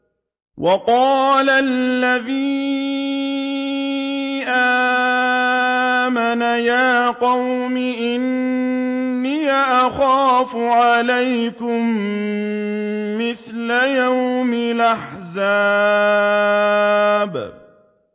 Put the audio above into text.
وَقَالَ الَّذِي آمَنَ يَا قَوْمِ إِنِّي أَخَافُ عَلَيْكُم مِّثْلَ يَوْمِ الْأَحْزَابِ